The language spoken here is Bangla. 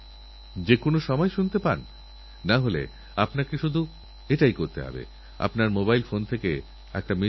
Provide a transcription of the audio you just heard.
যখন আমি সোশ্যাল মিডিয়াতে এর ছবিদেখলাম আমি আশ্চর্য হয়ে গেলাম বিয়েতে বরযাত্রী দেখা যাচ্ছে না চারদিকে শুধুগাছের চারা দেখা যাচ্ছিল